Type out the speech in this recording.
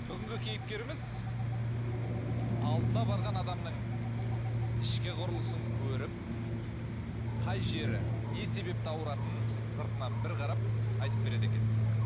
бүгінгі кейіпкеріміз алдына барған адамның ішкі құрылысын көріп қай жері не себепті ауыратынын сыртынан бір қарап айтып береді екен